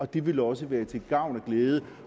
det vil også være til gavn og glæde